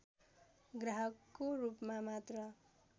ग्राहकको रूपमा मात्र